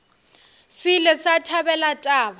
se ile sa thabela taba